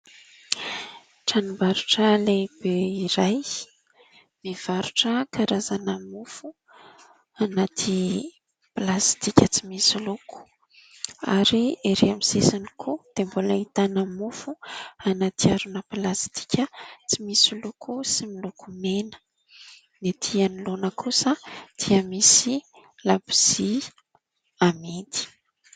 Tranombarotra lehibe iray, mivarotra karazana mofo anaty plastika tsy misy loko ary ery amin'ny sisiny koa dia mbola ahitana mofo anaty harona plastika tsy misy loko sy miloko mena. Ny ety anoloana kosa dia misy labozia amidy.